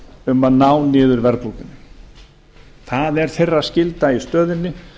um að ná niður verðbólgunni það er þeirra skylda í stöðunni